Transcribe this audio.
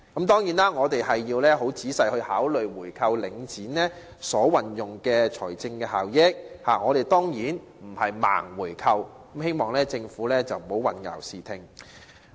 當然，我們亦需要仔細考慮購回領展的財政效益，而並非"盲回購"，我希望政府不要混淆視聽。